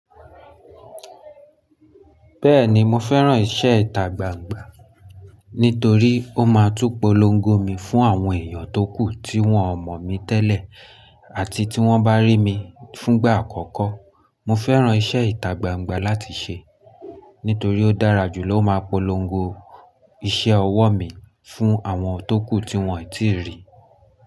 Bẹ́ẹ̀ni, mo fẹ́ràn iṣẹ́ ìtagbangba nítorí ó máa ń túpolongo mi fún àwọn èèyàn tókù tí wọ́n mọ̀ mí tẹ́lẹ̀ àti tí wọ́n bá rí mi fúngbà àkọ́kọ́. Mo fẹ́ràn iṣẹ́ ìtagbangba láti ṣe nítorí ó dára jù ló máa polongo iṣẹ́ ọwọ́ mi fún àwọn tókù tí wọ́n ò tíì rí.